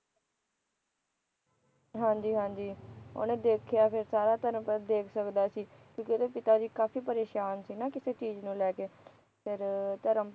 ਹਾਂ ਜੀ ਹਾਂ ਜੀ ਉਹਨੇ ਦੇਖਿਆ ਫਿਰ ਸਾਰਾ ਧਰਮ ਪਧ ਦੇਖ ਸਕਦਾ ਸੀ ਕਿਉਕਿ ਉਹਦੇ ਪਿਤਾ ਜੀ ਕਾਫ਼ੀ ਪਰੇਸ਼ਾਨ ਸੀ ਨਾ ਕਿਸੇ ਚੀਜ ਨੂੰ ਲੈ ਕੇ ਫਿਰ ਧਰਮ ਪਧ